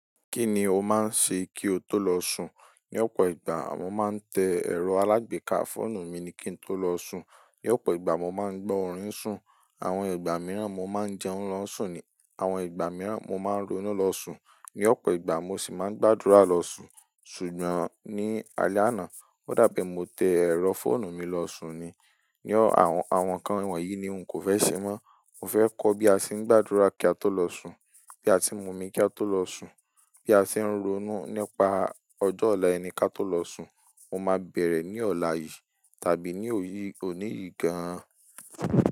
Kí ni o máa ń ṣe kí o tó lọ sùn? Ní ọ̀pọ̀ ìgbà, mo máa ń tẹ ẹ̀rọ alágbèéká fóònù mi kí n tó lọ sùn. Ní ọ̀pọ̀ ìgbà, mo máa ń gbọ́ orin sùn. Àwọn ìgbà mìíràn, mo máa ń jẹun lọ sùn ni. Àwọn ìgbà mìíràn, mo máa ń ronú lọ sùn. Ní ọ̀pọ̀ ìgbà, mo sì máa ń gbàdúrà lọ sùn. Ṣùgbọ́n ní alẹ́ àná, ó dà pé mo tẹ ẹ̀rọ fóònù mi lọ sùn ni. Ni ọ-- àwọn nǹkan wọ̀nyí ni n kò fẹ́ ṣe mọ́. Mo fẹ́ kọ́ bí a ṣe ń gbàdúrà kí a tó lọ sùn, bí a ṣe ń mu omi kí a tó lọ sùn, bí a ṣe ń ronú nípa ọjọ́ ọ̀la ẹni ká tó lọ sùn. Mo máa bẹ̀rẹ̀ ní ọ̀la yìí tàbí ní òní yìí gan-an.